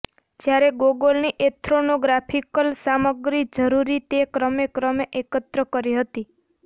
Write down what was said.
જ્યારે ગોગોલની એથ્રોનોગ્રાફિકલ સામગ્રી જરૂરી તે ક્રમેક્રમે એકત્ર કરી હતી